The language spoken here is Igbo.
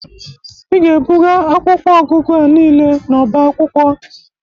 Ị ga-ebụga akwụkwọ ọgụgụ a niile n'ọba akwụkwọ.